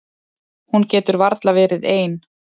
Hún getur varla verið ein.